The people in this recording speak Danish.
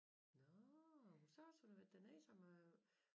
Nåh så også hun havde været dernede som øh